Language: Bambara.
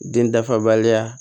Den dafabaliya